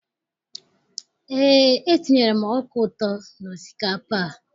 Eé, etinyere m ọka ụtọ n'osikapa a.